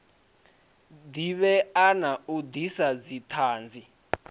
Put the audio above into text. divhea na u disa dzithanzi